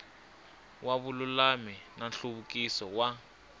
wa vululami na nhluvukiso wa